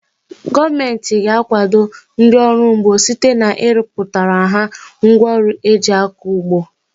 Gọọmenti ga-akwado ndị ọrụ ugbo site na ịrọpụtara ha ngwa ọrụ eji akọ ugbo.